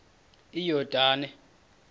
iyordane